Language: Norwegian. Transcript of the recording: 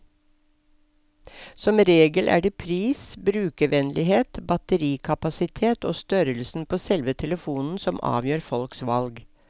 Som regel er det pris, brukervennlighet, batterikapasitet og størrelsen på selve telefonen som avgjør folks valg.